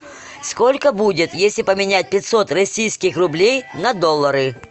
сколько будет если поменять пятьсот российских рублей на доллары